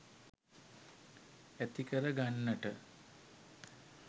ඇතිකර ගන්නට.